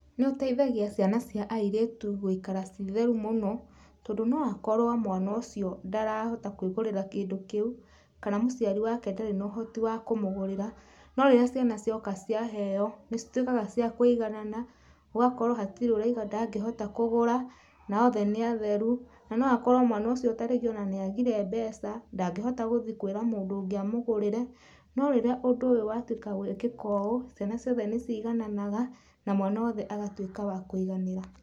Nĩ ũteithagia ciana cia airĩtu gũikara ciĩ theru mũno, tondũ no akorwo mwana ũcio ndarahota kũĩgũrĩra kĩndũ kĩu, kana mũciari wake ndarĩ na ũhoti wa kũmũgũrĩra, no rĩrĩa ciana cioka ciaheo nĩ cituĩkaga cia kũiganana gũgakorwo hatirĩ ũrauga ndangĩhota kũgũra, na othe nĩ atheru, na gũkorwo mwana ũcio ta rĩngĩ ona nĩ agire mbeca ndangihota gũthiĩ kwĩra mũndũ ũngĩ amũgrĩre, no rĩrĩa ũndũ ũyũ watuĩka gwĩkĩka ũũ ciana ciothe nĩ cigananaga na mwana wothe agatuĩka wa kũiganĩra.